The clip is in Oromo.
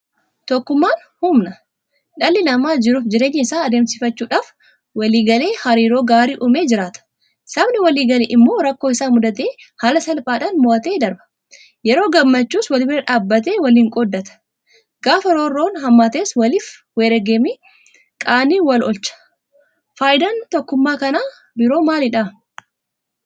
Tokkummaan humna! Dhalli namaa jiruufi jireenya isaa adeemsifachuudhaaf waliigalee hariiroo gaarii uumee jiraata. Sabni waliigale immoo rakkoo isa mudate haala salphaadhaan mo'atee darba. Yeroo gammachuus walbira dhaabbatee waliin qooddata. Gaafa roorroon hammaates waliif wareegamee qaanii wal-oolcha. Faayidaan tokkummaa kan biroo maalidha?